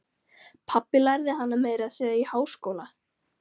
Pabbi lærði hana meira að segja í háskóla.